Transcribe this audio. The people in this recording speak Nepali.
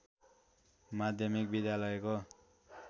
माध्यमिक विद्यालयको